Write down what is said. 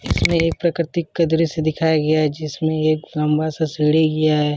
इसमें एक प्राकृतिक का दृश्य दिखाया गया है जिसमें एक लंबा सा सीढ़ी गया है।